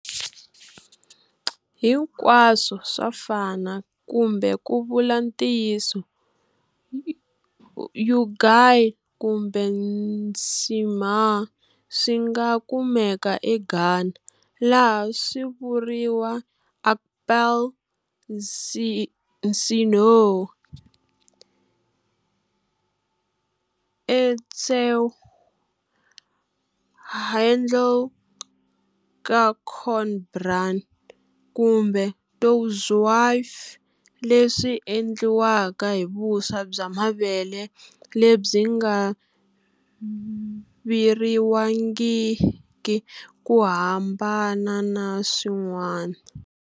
Hinkwaswo swa fana kumbe ku vula ntiyiso, ugali kumbe nshima swinga kumeka e Ghana, laha swivuriwa akple, nsihoo, etsew handle ka corn bran kumbe tuo zaafi, leswi endliwaka hi vuswa bya mavele lebyi nga viriwangiki ku hambana na swin'wana